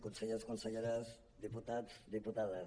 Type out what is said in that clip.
consellers conselleres diputats diputades